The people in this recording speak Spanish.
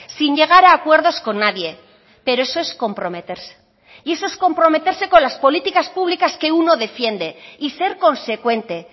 sin llegar a acuerdos con nadie pero eso es comprometerse y eso es comprometerse con las políticas públicas que uno defiende y ser consecuente